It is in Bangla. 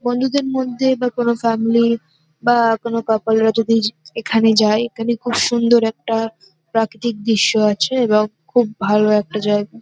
বন্ধুদের মধ্যে বা কোনো ফ্যামিলির বা কোনো কাপলরা যদি এখানে যায় এখানে খুব সুন্দর একটা প্রাকৃতিক দৃশ্য আছে এবং খুব ভালো একটা জায়গা ।